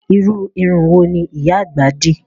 Irú irun wo ni ìyá àgbà dì?